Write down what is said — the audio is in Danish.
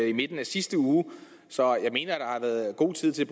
i midten af sidste uge så jeg mener at har været god tid til